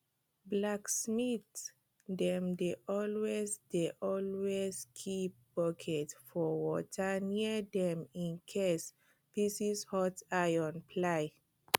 blacksmith dem dey always dey always keep bucket of water near dem incase pieces hot iron fly